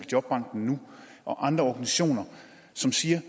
jobbankennu og andre organisationer som siger